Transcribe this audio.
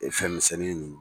E fɛnmisɛnnin nunnu.